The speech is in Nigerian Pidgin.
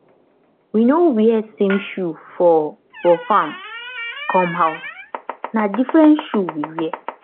we no wear same shoe for for farm come house na different shoe we wear